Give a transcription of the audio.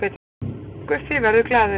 Guffi verður glaður